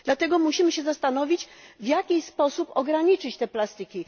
Dlatego musimy się zastanowić, w jaki sposób ograniczyć te plastiki.